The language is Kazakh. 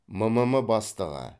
мм бастығы